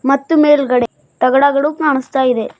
ಮತ್ತು ಮೇಲ್ಗಡೆ ತಗಡಗಳು ಕಾಣಿಸ್ತಾ ಇವೆ.